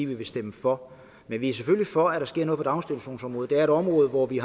vil stemme for men vi er selvfølgelig for at der sker noget på daginstitutionsområdet det er et område hvor vi